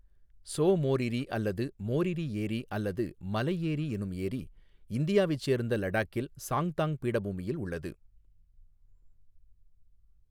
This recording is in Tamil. ஸோ மோரிரீ அல்லது மோரிரீ ஏரி அல்லது 'மலை ஏரி' எனும் ஏரி இந்தியாவைச் சேர்ந்த லடாக்கில் சாங்தாங் பீடபூமியில் உள்ளது.